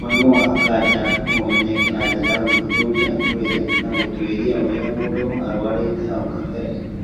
Mũrimũ wa Erythromelalgia no ũmenyeke na njĩra ya gũthuthuria mwĩrĩ na gũtuĩria ũrĩa mũndũ arũarĩte hau kabere.